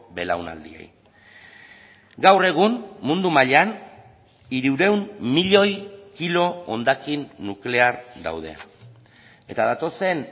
belaunaldiei gaur egun mundu mailan hirurehun milioi kilo hondakin nuklear daude eta datozen